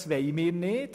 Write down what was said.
Das wollen wir nicht.